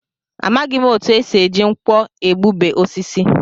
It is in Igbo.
Amaghị m etu e si eji nkwọ egbube osisi